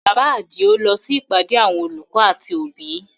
Bàbá Adio lọ sí ìpàdé àwọn olùkọ́ àti òbí